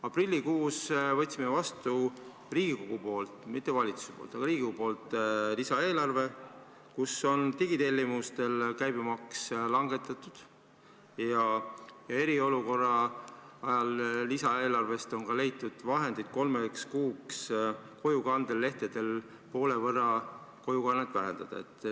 Aprillikuus võtsime vastu Riigikogus – mitte valitsuses, vaid Riigikogus – lisaeelarve, kus on digitellimuste käibemaksu langetatud, ja eriolukorra ajal on lisaeelarvest ka leitud vahendeid, et kolmeks kuuks kojukande summat poole võrra vähendada.